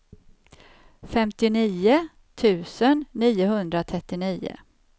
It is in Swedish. femtionio tusen niohundratrettionio